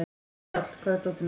Njáll, hvar er dótið mitt?